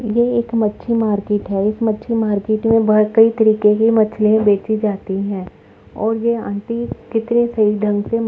ये एक मच्छी मार्किट है। एक मच्छी मार्केट में बोहोत कई तरीके की मछलियाँ बेची जाती है और ये आंटी कितने सही ढ़ंग से म् --